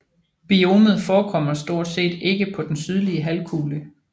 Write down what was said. Biomet forekommer stort set ikke på den sydlige halvkugle